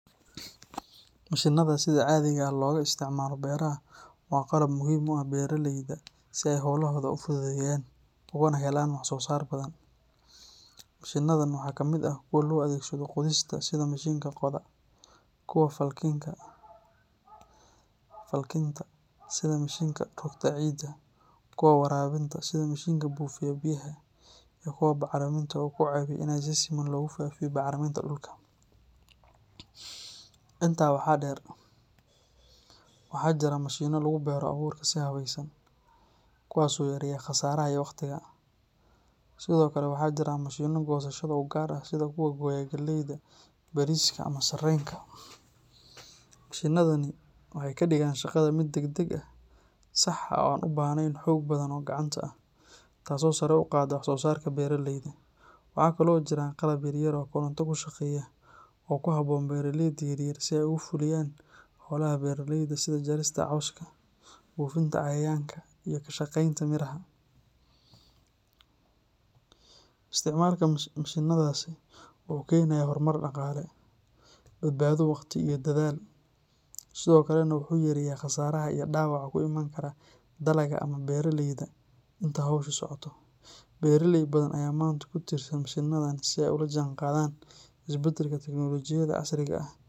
Mashiinnada sida caadiga ah looga isticmaalo beeraha waa qalab muhiim u ah beeraleyda si ay hawlahooda u fududeeyaan ugana helaan wax-soo-saar badan. Mashiinnadan waxaa ka mid ah kuwa loo adeegsado qodista sida mishiinka qoda, kuwa falkinta sida mishiinka rogta ciidda, kuwa waraabinta sida mishiinka buufiya biyaha, iyo kuwa bacriminta oo ku caawiya in si siman loogu faafiyo bacriminta dhulka. Intaa waxaa dheer, waxaa jira mashiinno lagu beero abuurka si habaysan, kuwaas oo yareeya khasaaraha iyo waqtiga, sidoo kale waxaa jira mashiinno goosashada u gaar ah sida kuwa gooya galleyda, bariiska, ama sarreenka. Mashiinnadani waxay ka dhigaan shaqada mid degdeg ah, sax ah oo aan u baahnayn xoog badan oo gacanta ah, taasoo sare u qaadda wax-soo-saarka beeraleyda. Waxa kale oo jira qalab yar yar oo koronto ku shaqeeya oo ku habboon beeraleyda yaryar si ay ugu fuliyaan hawlaha beeraleyda sida jarista cawska, buufinta cayayaanka, iyo ka shaqaynta miraha. Isticmaalka mashiinnadaasi wuxuu keenayaa horumar dhaqaale, badbaado wakhti iyo dadaal, sidoo kalena wuxuu yareeyaa khasaaraha iyo dhaawaca ku iman kara dalagga ama beeraleyda inta hawshu socoto. Beeraley badan ayaa maanta ku tiirsan mashiinnadan si ay ula jaanqaadaan isbeddelka tiknoolajiyadda casriga ah.